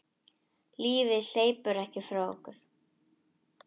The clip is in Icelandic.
Lífið hleypur ekki frá okkur.